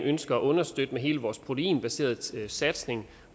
ønsker at understøtte med hele vores proteinbaserede satsning